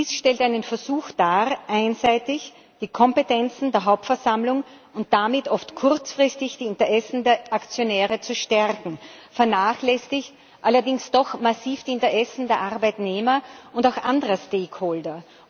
Dies stellt einen Versuch dar, einseitig die Kompetenzen der Hauptversammlung und damit oft kurzfristig die Interessen der Aktionäre zu stärken, vernachlässigt allerdings doch massiv die Interessen der Arbeitnehmer und auch anderer Stakeholder.